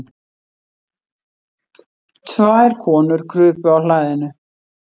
Tvær konur krupu á hlaðinu.